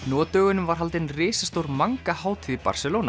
nú á dögunum var haldin risastór manga hátíð í